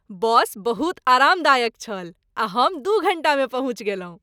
बस बहुत आरामदायक छल आ हम दू घण्टामे पहुँचि गेलहुँ।